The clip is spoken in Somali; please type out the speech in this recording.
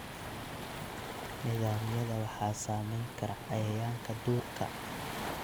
Nidaamyada waxaa saameyn kara cayayaanka duurka.